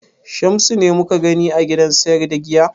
Shamsu ne mu ka gani a gidan sayar da giya?